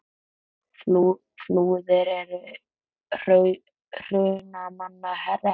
Flúðir er í Hrunamannahreppi.